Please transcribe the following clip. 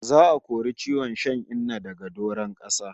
Za'a kori ciwon shan Inna daga doron kasa